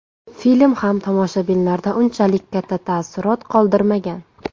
Film ham tomoshabinlarda unchalik katta taassurot qoldirmagan.